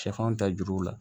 Sɛfan ta juru la